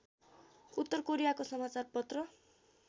उत्तर कोरियाको समाचारपत्र